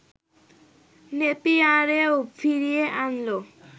নেপিয়ারেও ফিরিয়ে আনল